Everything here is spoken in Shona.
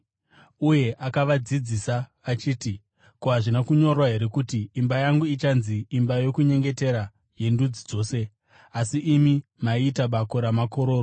Uye akavadzidzisa achiti, “Ko, hazvina kunyorwa here kuti: “ ‘Imba yangu ichanzi imba yokunyengetera yendudzi dzose’? Asi imi maiita ‘bako ramakororo.’ ”